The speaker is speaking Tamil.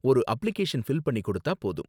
ஒரு அப்ளிகேஷன் ஃபில் பண்ணி கொடுத்தா போதும்.